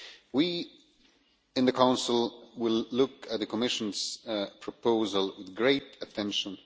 We in the Council will look at the Commission's proposal with great attention.